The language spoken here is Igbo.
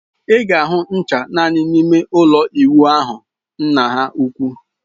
Ị ga-ahụ ncha naanị n'ime ụlọ ịwụ ahụ nna ha ukwu.